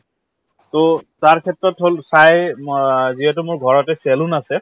to ক্ষেত্ৰত হল চাই ম যিহেতু মোৰ ঘৰতে salon আছে